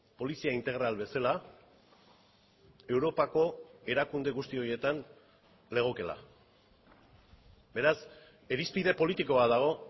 polizia integral bezala europako erakunde guzti horietan legokeela beraz irizpide politiko bat dago